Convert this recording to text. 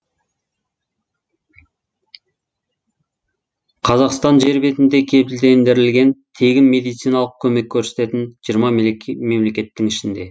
қазақстан жер бетінде кепілдендірілген тегін медициналық көмек көрсететін жиырма мемлекеттің ішінде